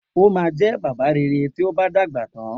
O máa jẹ́ bàbá rere tí ó bá ti dàgbà tán